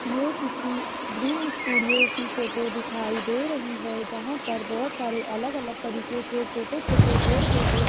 ये किसी green studio की फोटो दिखाई दे रही है जहां पर बहुत सारे अलग अलग तरीके के छोटे छोटे पेड़ पौधे--